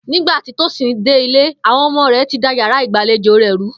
Nígbà tí Tósìn dé ilé, àwo̩n o̩mo̩ rè̩ ti da yàrá ìgbàlejò rè̩ rú